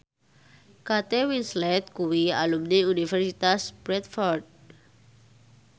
Kate Winslet kuwi alumni Universitas Bradford